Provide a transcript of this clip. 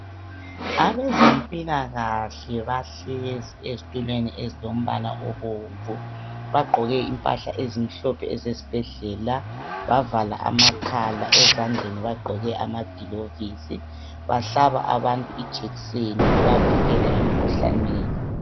Abezempilakahle bahlezi ezitulweni ezilombala obomvu, bagqoke impahla ezimhlophe ezesibhedlela bavala amakhala ezandleni bagqoke amagilovisi. Bahlala abantu ijekiseni bebavikela emikhuhlaneni.